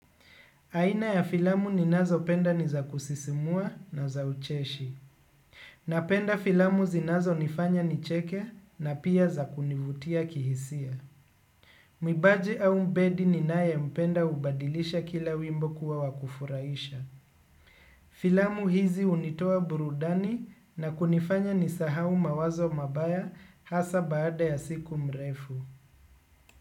Aina ya filamu ninazopenda ni za kusisimua na za ucheshi. Napenda filamu zinazonifanya ni cheke na pia za kunivutia kihisia. Mwimbaji au mbedi ninayempenda hubadilisha kila wimbo kuwa wa kufuraisha. Filamu hizi hunitoa burudani na kunifanya nisahau mawazo mabaya hasa baada ya siku mrefu.